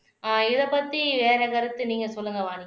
ஆஹ் இத பத்தி வேற கருத்து நீங்க சொல்லுங்க வாணி